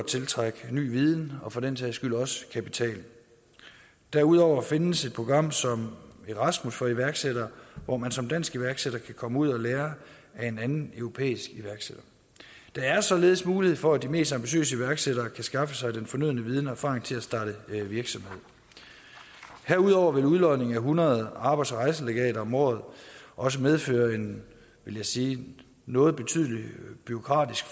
tiltrække ny viden og for den sags skyld også kapital derudover findes et program som erasmus for unge iværksættere hvor man som dansk iværksætter kan komme ud og lære af en anden europæisk iværksætter der er således mulighed for at de mest ambitiøse iværksættere kan skaffe sig den fornødne viden og erfaring til at starte virksomhed herudover vil udlodning af hundrede arbejds og rejselegater om året også medføre en vil jeg sige noget betydelig bureaukratisk